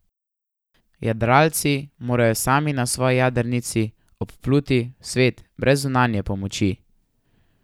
Jadralci morajo sami na svoji jadrnici obpluti svet brez zunanje pomoči.